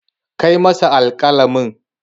Kai masa alƙalamin.